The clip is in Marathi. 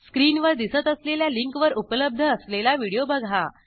स्क्रीनवर दिसत असलेल्या लिंकवर उपलब्ध असलेला व्हिडिओ बघा